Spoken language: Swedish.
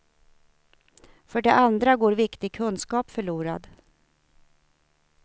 För det andra går viktig kunskap förlorad.